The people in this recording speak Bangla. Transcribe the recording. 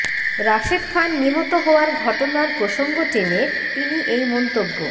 রাশেদ খান নিহত হওয়ার ঘটনার প্রসঙ্গ টেনে তিনি এই মন্তব্য